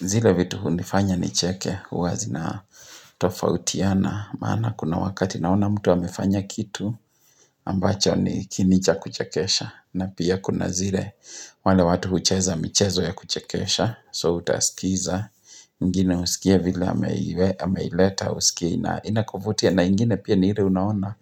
Zile vitu hunifanya nicheke huwa zina tofautiana Maana kuna wakati naona mtu amefanya kitu ambacho ni kiini cha kuchekesha na pia kuna zile wale watu hucheza michezo ya kuchekesha So utasikiza, mwingine husikia vile ameileta usikie inakuvutia na ingine pia ni ile unaona